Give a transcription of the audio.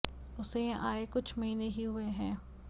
उसे यहां आये कुछ महीने ही हुये हैं